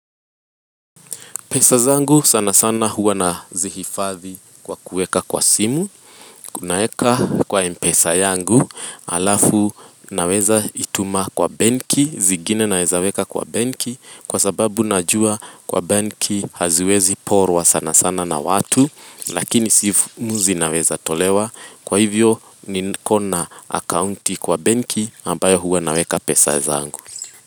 Pesa zangu sana sana huwa na zihifadhi kwa kueka kwa simu Kunaeka kwa mpesa yangu alafu naweza ituma kwa banki Zigine naezaweka kwa banki kwa sababu najua kwa banki haziwezi porwa sana sana na watu Lakini si muzi naweza tolewa kwa hivyo ni kona akaunti kwa banki ambayo huwa naweka pesa zangu.